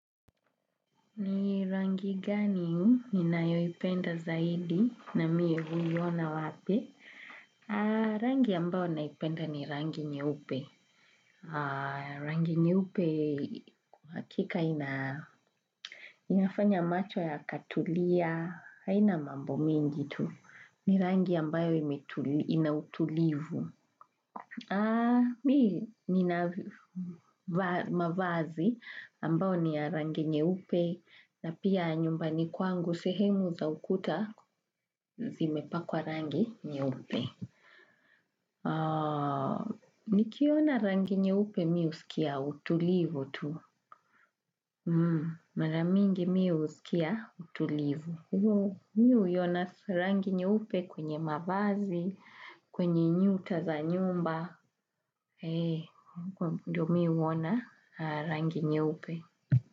Ni rangi gani ni nayoipenda zaidi na miye huliwana wape? Rangi ambayo naipenda ni rangi nyeupe. Rangi nyeupe kwa hakika inafanya macho ya katulia, haina mambo mingi tu. Ni rangi ambayo inautulivu. Mi nina mavazi ambao ni ya rangi nyeupe na pia nyumba ni kwangu sehemu za ukuta zimepakwa rangi nye upe. Nikiona rangi nye upe mi husikia utulivu tu. Maramingi mi husikia utulivu. Ndiyo mi huiona rangi nyeupe kwenye mavazi, kwenye nyuta za nyumba, ee, ndiyo mi huona rangi nyeupe.